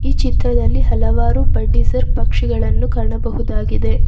ಈ ಚಿತ್ರದಲ್ಲಿ ಹಲವಾರು ಬಡ್ಡಿಸರ್ ಪಕ್ಷಿಗಳನ್ನು ಕಾಣಬಹುದಾಗಿದೆ.